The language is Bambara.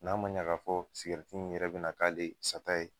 N'a ma ɲa ka fɔ in yɛrɛ bina k'ale sata ye